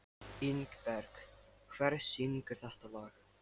Ingberg, hver syngur þetta lag?